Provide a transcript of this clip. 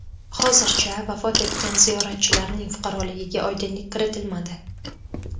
Hozircha vafot etgan ziyoratchilarning fuqaroligiga oydinlik kiritilmadi.